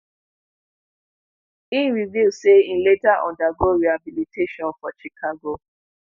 e reveal say e later undergo rehabilitation for chicago.